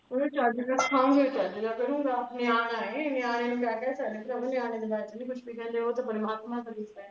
ਚੱਜ ਦਾ ਦਹੂੰਗੀ ਦੇ ਦਹੂੰਗੀਂ ਚੱਜ ਕਰੂੰਗਾ ਨੇਆਣਾ ਹੈ ਪਰਾਵਾਂ ਨੇਆਣੇ ਦੇ ਬਾਰੇ ਚ ਨਹੀਂ ਕੁਵਹ ਵੀ ਕਹਣਦੇ ਓਹ ਪਰਮਾਤਮਾ ਦਾ ਰੂਪ ਹੈ